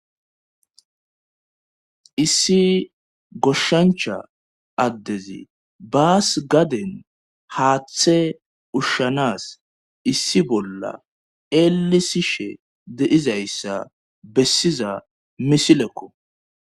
Issi goshshancha addezi baas gaden haaththe ushshanas issi bolla eelisishe deizayssa bessiza misilekko.